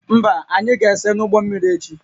Mba, anyị ga-ese n'ụgbọ mmiri echi